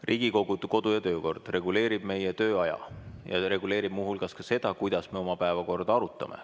Riigikogu kodu- ja töökord reguleerib meie tööaja ja see reguleerib muu hulgas ka seda, kuidas me oma päevakorda arutame.